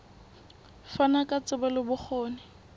fana ka tsebo le bokgoni